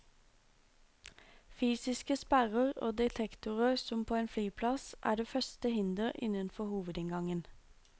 Fysiske sperrer og detektorer som på en flyplass er det første hinder innenfor hovedinngangen.